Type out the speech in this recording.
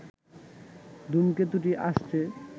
ধূমকেতুটি আসছে